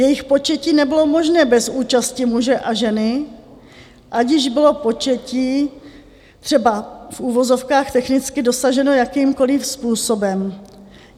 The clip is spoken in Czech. Jejich početí nebylo možné bez účasti muže a ženy, ať již bylo početí třeba v uvozovkách technicky dosaženo jakýmkoliv způsobem.